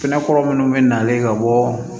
Kɛnɛ kɔrɔ minnu bɛ nalen ka bɔ